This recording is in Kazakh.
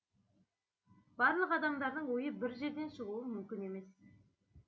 барлық адамдардың ойы бір жерден шығуы мүмкін емес